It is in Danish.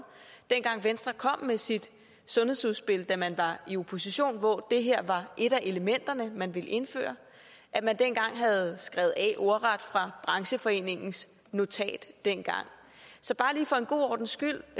dengang venstre kom med sit sundhedsudspil da man var i opposition hvor det her var et af elementerne i det man ville indføre at man havde skrevet af ordret fra brancheforeningens notat dengang så bare lige for en god ordens skyld